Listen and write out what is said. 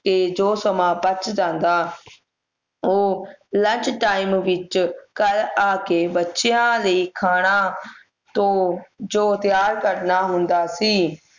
ਤੇ ਜੋ ਸਮਾਂ ਬਚ ਜਾਂਦਾ ਉਹ lunch time ਵਿੱਚ ਘਰ ਆ ਕੇ ਬੱਚਿਆਂ ਲਈ ਖਾਣਾ ਤੂੰ ਜੋ ਤਿਆਰ ਕਰਨਾ ਹੁੰਦਾ ਸੀ